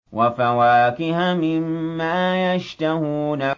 وَفَوَاكِهَ مِمَّا يَشْتَهُونَ